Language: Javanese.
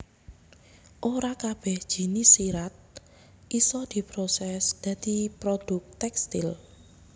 Ora kabèh jinis serat isa diprosès dadi produk tèkstil